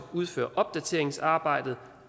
udføre opdateringsarbejdet